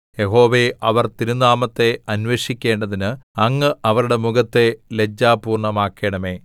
യഹോവേ അവർ തിരുനാമത്തെ അന്വേഷിക്കേണ്ടതിന് അങ്ങ് അവരുടെ മുഖത്തെ ലജ്ജാപൂർണ്ണമാക്കണമേ